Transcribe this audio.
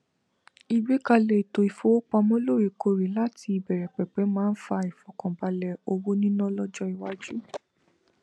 igbekalẹ ètò ìfowópamọ loorekoore láti ìbẹrẹpẹpẹ máa n fa ìfọkànbalẹ owo nina lọjọ iwáju